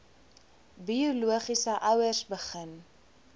biologiese ouers begin